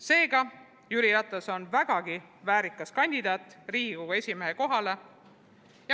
Seega Jüri Ratas on vägagi väärikas kandidaat Riigikogu esimehe kohale.